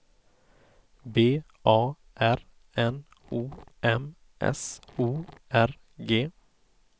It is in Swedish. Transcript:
B A R N O M S O R G